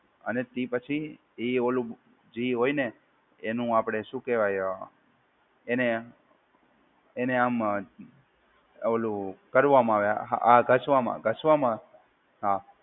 અને તે પછી એ ઓલું જે હોય ને એનું આપડે શું કહેવાય એને એને આમ ઓલું કરવામાં આવે આ ઘસવામાં ઘસવામાં હા